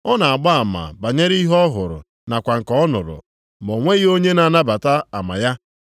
Ọ na-agba ama banyere ihe ọ hụrụ nakwa nke ọ nụrụ, ma o nweghị onye na-anabata ama ya.